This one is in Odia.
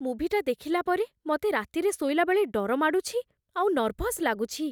ମୁଭିଟା ଦେଖିଲା ପରେ, ମତେ ରାତିରେ ଶୋଇଲାବେଳେ ଡର ମାଡ଼ୁଛି ଆଉ ନର୍ଭସ୍ ଲାଗୁଛି ।